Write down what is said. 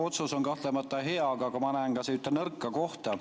Otsus on kahtlemata hea, aga ma näen siin ka ühte nõrka kohta.